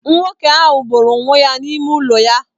Nwoke ahụ gbụrụ onwe ya n'ime ụlọ ya.